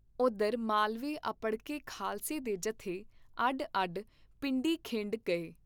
ਉਧਰ ਮਾਲਵੇ ਅੱਪੜਕੇ ਖਾਲਸੇ ਦੇ ਜਥੇ ਅੱਡ ਅੱਡ ਪਿੰਡੀ ਖਿੰਡ ਗਏ।